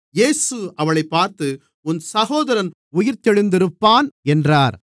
இயேசு அவளைப் பார்த்து உன் சகோதரன் உயிர்த்தெழுந்திருப்பான் என்றார்